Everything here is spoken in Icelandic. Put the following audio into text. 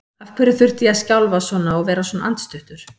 Af hverju þurfti ég að skjálfa svona og vera svona andstuttur?